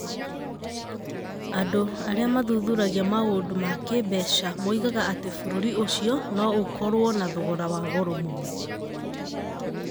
And? ar?a mathuthuragia ma?nd? ma k??mbeca moigaga at? b?r?ri ?cio no ?kor?o na thogora wa goro m?no.